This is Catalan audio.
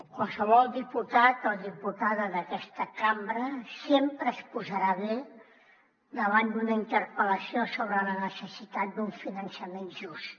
qualsevol diputat o diputada d’aquesta cambra sempre es posarà bé davant d’una interpel·lació sobre la necessitat d’un finançament just